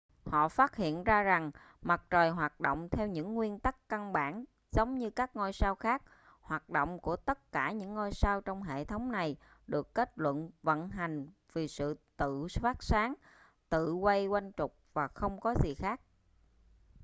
họ phát hiện ra rằng mặt trời hoạt động theo những nguyên tắc căn bản giống như các ngôi sao khác hoạt động của tất cả những ngôi sao trong hệ thống này được kết luận vận hành vì sự tự phát sáng tự quay quanh trục và không có gì khác